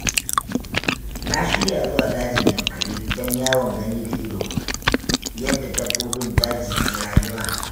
Na shirya zuwa dajin Yankari don yawon gani-da-ido yadda dabbobin daji ke rayuwa